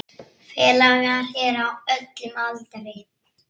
Félagar eru á öllum aldri.